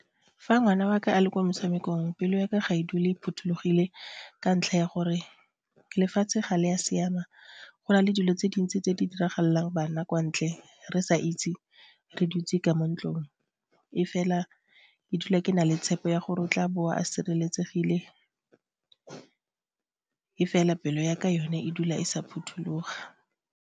Fa ngwana wa ka a le ko motshamekong pelo ya ka ga e dule e phothulogile ka ntlha ya gore lefatshe ga le ya siama go nale dilo tse dintsi tse di diragalang bana kwa ntle re sa itse, re dutse ka mo ntlong e fela ke dula ke na le tshepo ya gore o tla boa a sireletsegile e fela pelo yaka yone e dula e sa phuthuloga.